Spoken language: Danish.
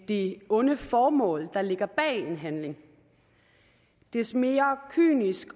det onde formål der ligger bag en handling des mere kynisk